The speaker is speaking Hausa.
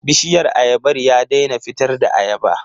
Bishiyar ayabar ya daina fitar da ayaba.